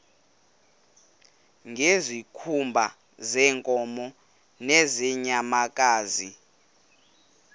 ngezikhumba zeenkomo nezeenyamakazi